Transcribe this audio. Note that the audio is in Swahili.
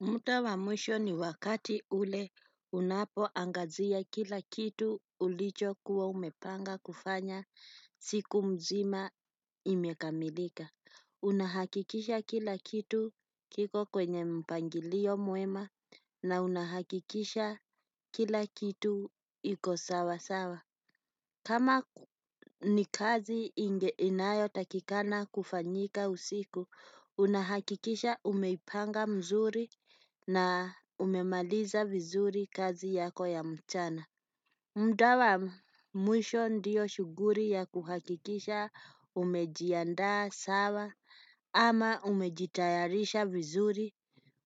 Muta wa mwisho ni wakati ule unapoangazia kila kitu ulichokuwa umepanga kufanya siku mzima imekamilika. Unahakikisha kila kitu kiko kwenye mpangilio mwema na unahakikisha kila kitu iko sawasawa. Kama ni kazi inayotakikana kufanyika usiku, unahakikisha umeipanga mzuri na umemaliza vizuri kazi yako ya mchana. Mda wa, mwisho ndiyo shughuri ya kuhakikisha umejiandaa sawa ama umejitayarisha vizuri